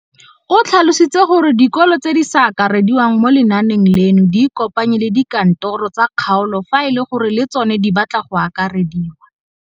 O tlhalositse gore dikolo tse di sa akarediwang mo lenaaneng leno di ikopanye le dikantoro tsa kgaolo fa e le gore le tsona di batla go akarediwa.